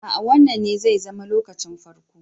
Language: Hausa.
Aa Wannan ne zai zama lokacin farko.